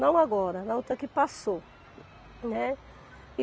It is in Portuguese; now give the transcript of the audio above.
Não agora, na outra que passou, né. E